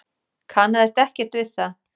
Kannaðist ekkert við það.